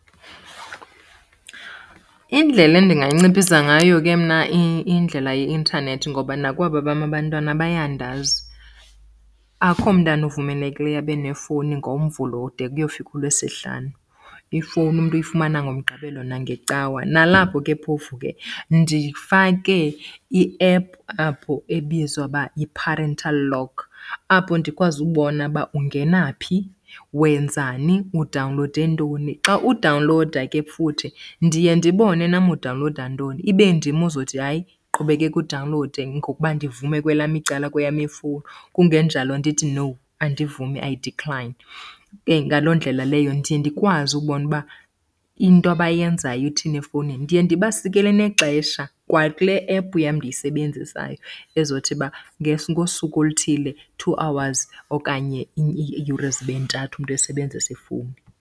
Indlela endingayinciphisa ngayo ke mna indlela yeintanethi, ngoba nakwaba bam abantwana bayandazi, akho mntana uvumelekileyo abe nefowuni ngoMvulo de kuyofika uLwesihlanu. Ifowuni umntu uyifumana ngoMgqibelo nangeCawa. Nalapho ke phofu ke ndifake iephu apho ebizwa ukuba yi-parental lock, apho ndikwazi ubona uba ungena phi, wenzani, udawunlowude ntoni. Xa udawunlowuda ke futhi ndiye ndibone nam udawunlowuda ntoni, ibe ndim ozothi hayi qhubekeka udawunlowude ngokuba ndivume kwelam icala kweyam ifowuni, kungenjalo ndithi no andivumi I decline. Ke ngaloo ndlela leyo ndiye ndikwazi ukubona uba into abayenzayo ithini efowunini. Ndiye ndibasikele nexesha kwakule ephu yam ndiyisebenzisayo ezothi uba ngosuku oluthile two hours okanye iiyure zibe ntathu umntu esebenzisa ifowuni.